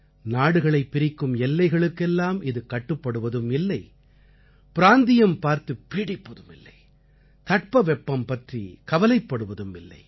நாடுகளைப் பிரிக்கும் எல்லைகளுக்கு எல்லாம் இது கட்டுப்படுவதும் இல்லை பிராந்தியம் பார்த்துப் பீடிப்பதும் இல்லை தட்பவெப்பம் பற்றிக் கவலைப்படுவதும் இல்லை